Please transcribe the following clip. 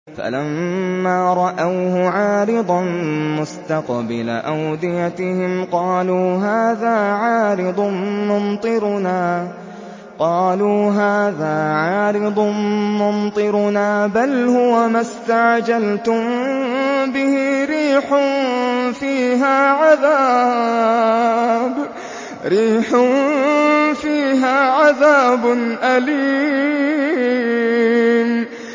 فَلَمَّا رَأَوْهُ عَارِضًا مُّسْتَقْبِلَ أَوْدِيَتِهِمْ قَالُوا هَٰذَا عَارِضٌ مُّمْطِرُنَا ۚ بَلْ هُوَ مَا اسْتَعْجَلْتُم بِهِ ۖ رِيحٌ فِيهَا عَذَابٌ أَلِيمٌ